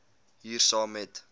hier saam met